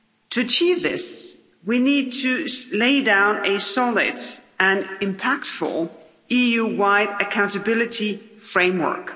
To achieve this, we need to lay down a solid and impactful EU-wide accountability framework.